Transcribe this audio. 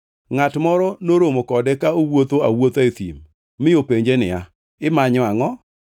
ngʼat moro noromo kode ka owuotho awuotha e thim mi openje niya, “Imanyo angʼo?”